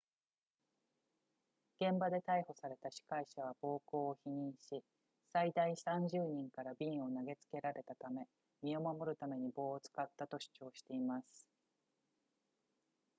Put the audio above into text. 現場で逮捕された司会者は暴行を否認し最大30人から瓶を投げつけられたため身を守るために棒を使ったと主張しています